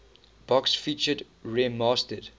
box featured remastered